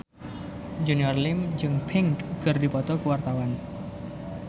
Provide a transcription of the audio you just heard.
Junior Liem jeung Pink keur dipoto ku wartawan